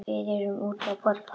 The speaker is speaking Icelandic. Við erum úti að borða.